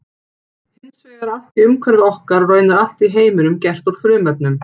Hins vegar er allt í umhverfi okkar og raunar allt í heiminum gert úr frumefnum.